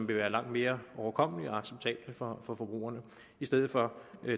vil være langt mere overkommelige og acceptable for forbrugerne i stedet for